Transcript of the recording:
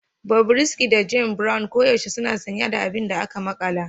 Bobrisky da James Brown koyaushe suna sanye da abin da aka makala